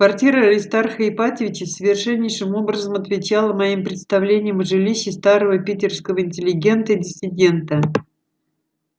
квартира аристарха ипатьевича совершеннейшим образом отвечала моим представлениям о жилище старого питерского интеллигента и диссидента